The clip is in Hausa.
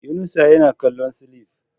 Yunusa yana kallon cilif